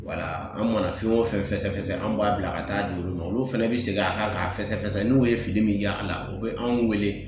Wala an mana fɛn o fɛn fɛsɛfɛsɛ an b'a bila ka taa di olu ma olu fɛnɛ bɛ segin a kan k'a fɛsɛfɛsɛ n'u ye fili min y'a la u bɛ anw wele .